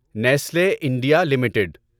Nestle India limited